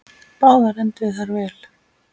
Báðar enduðu þær vel.